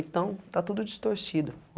Então, está tudo distorcido.